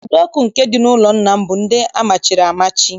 Ụdọ ọkụ nke dị n'ụlọ nna m bụ ndị amachiri amachi